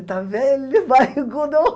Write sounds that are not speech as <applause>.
Ele está velho, barrigudo <laughs>